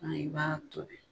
Ɔn i b'a tobi .